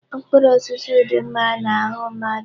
Mkpụrụ osisi dị mma n'ahụ mmadụ.